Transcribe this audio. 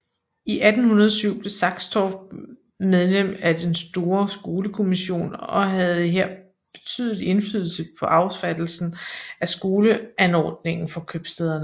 I 1807 blev Saxtorph medlem af den store skolekommission og havde her betydelig indflydelse på affattelsen af skoleanordningen for købstæderne